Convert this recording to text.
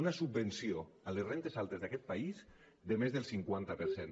una subvenció a les rendes altes d’aquest país de més del cinquanta per cent